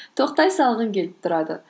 тоқтай салғың келіп тұрады